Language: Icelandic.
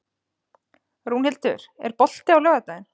Rúnhildur, er bolti á laugardaginn?